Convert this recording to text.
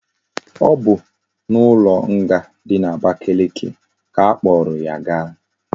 O bu na ulo nga di na abakeleke ka akporo ya gaa